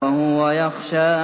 وَهُوَ يَخْشَىٰ